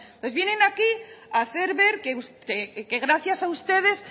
vienen aquí a hacer ver que gracias a ustedes